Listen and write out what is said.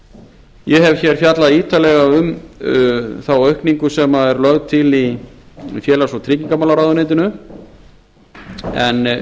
í þingvallavatni ég hef fjallað ítarlega um þá aukningu sem er lögð til í félags og tryggingamálaráðuneytinu en